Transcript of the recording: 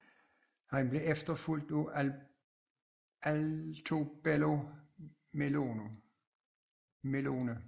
Han blev efterfulgt af Altobello Melone